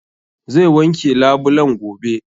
Zai wanke labulen gobe